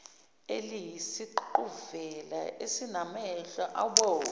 eliyisiququvela esinamehlo abomvu